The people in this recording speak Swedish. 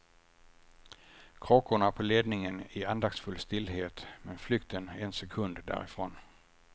Kråkorna på ledningen i andaktsfull stillhet men flykten en sekund därifrån.